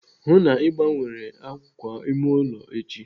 Hụụ na Ị gbanwere àkwà ime ụlọ echi!